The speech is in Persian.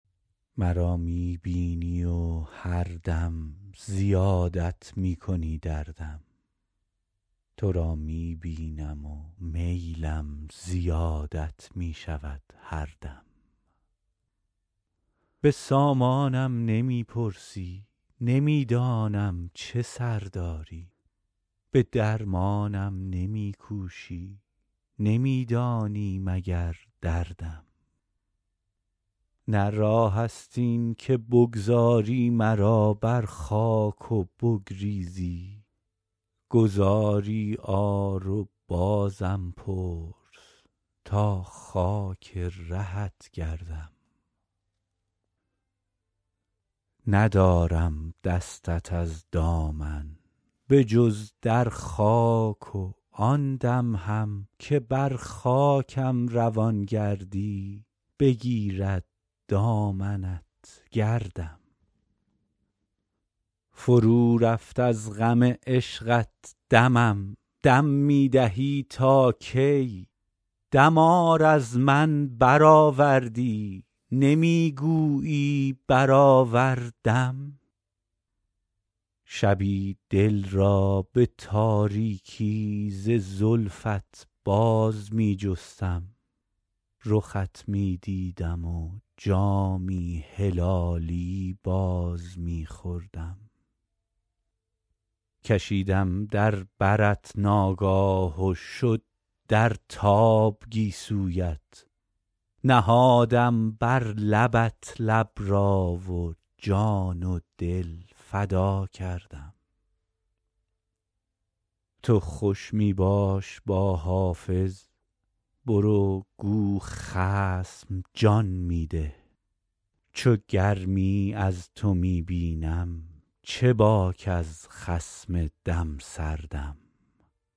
مرا می بینی و هر دم زیادت می کنی دردم تو را می بینم و میلم زیادت می شود هر دم به سامانم نمی پرسی نمی دانم چه سر داری به درمانم نمی کوشی نمی دانی مگر دردم نه راه است این که بگذاری مرا بر خاک و بگریزی گذاری آر و بازم پرس تا خاک رهت گردم ندارم دستت از دامن به جز در خاک و آن دم هم که بر خاکم روان گردی بگیرد دامنت گردم فرو رفت از غم عشقت دمم دم می دهی تا کی دمار از من برآوردی نمی گویی برآوردم شبی دل را به تاریکی ز زلفت باز می جستم رخت می دیدم و جامی هلالی باز می خوردم کشیدم در برت ناگاه و شد در تاب گیسویت نهادم بر لبت لب را و جان و دل فدا کردم تو خوش می باش با حافظ برو گو خصم جان می ده چو گرمی از تو می بینم چه باک از خصم دم سردم